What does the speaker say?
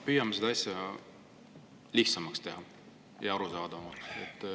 Püüame teha seda asja lihtsamaks ja arusaadavamaks.